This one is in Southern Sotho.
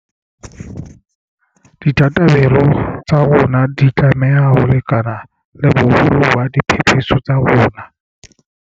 Ditabatabelo tsa rona di tlameha ho lekana le boholo ba diphephetso tsa rona.